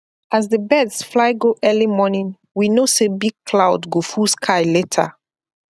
as the birds fly go early morning we know say big cloud go full sky later